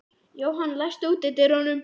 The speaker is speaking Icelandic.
Jóhann, læstu útidyrunum.